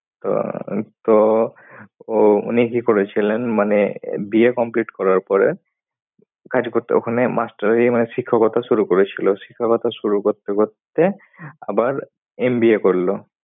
তো তো ও উনি কি করেছিলেন মানে BA complete করার পরে কাজ করতো। ওখানে master MI শিক্ষকতা শুরু করেছিলো। শিক্ষকতা শুরু করতে করতে আবার MBA করলো।